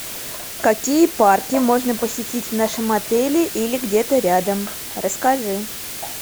какие парки можно посетить в нашем отеле или где то рядом расскажи